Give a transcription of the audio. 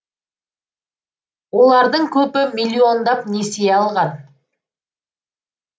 олардың көбі миллиондап несие алған